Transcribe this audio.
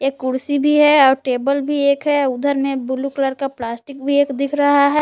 एक कुर्सी भी है और टेबल भी एक है उधर में ब्लू कलर का प्लास्टिक भी एक दिख रहा है।